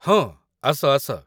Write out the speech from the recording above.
ହଁ, ଆସ ଆସ